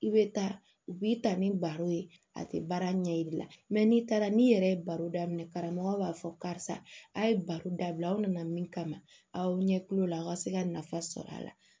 I bɛ taa u b'i ta ni baro ye a tɛ baara ɲɛbila mɛ n'i taara n'i yɛrɛ ye baro daminɛ karamɔgɔw b'a fɔ karisa a ye baro dabila aw nana min kama aw ɲɛ kulo la aw ka se ka nafa sɔrɔ a la